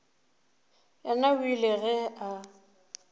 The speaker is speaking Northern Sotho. yena o ile ge a